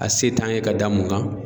A se t'an ye ka da mun kan.